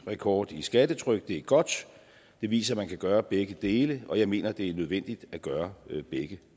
rekord i skattetryk det er godt det viser man kan gøre begge dele og jeg mener det er nødvendigt at gøre begge